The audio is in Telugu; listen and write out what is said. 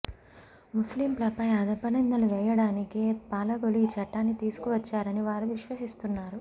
ముస్లింలపై అపనిందలు వేయడానికే పాలకులు ఆ చట్టాన్ని తీసుకువచ్చారని వారు విశ్వసిస్తున్నారు